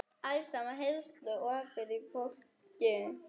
Alls staðar heyrðust ópin í fólki.